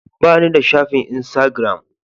Ba ni da shafin insagiram.